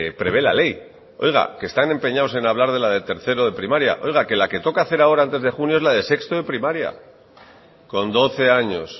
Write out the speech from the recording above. prevé la ley oiga que están empeñados en hablar de la de tercero de primaria oiga que la que toca hacer ahora antes de junio es la de sexto de primaria con doce años